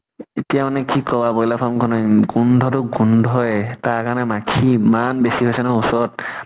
এতিয়া মানে কি কবা ব্ৰইলাৰ farm খনে গোন্ধ টো গোন্ধয়ে, তাৰ কাৰণে মাখী ইমান বেছি হৈছে নহয় ওচৰত